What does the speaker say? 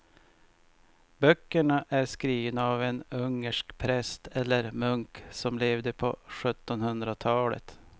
Böckerna är skrivna av en ungersk präst eller munk som levde på sjuttonhundratalet.